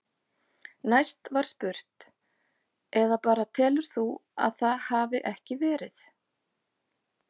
Næst var spurt: Eða bara telur þú að það hafi ekki verið?